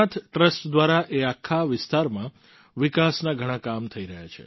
Somnath trust દ્વારા તે આખા વિસ્તારમાં વિકાસના ઘણાં કામ થઈ રહ્યા છે